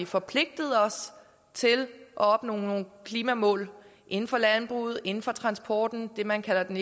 forpligtet os til at opnå nogle klimamål inden for landbruget inden for transporten det man kalder den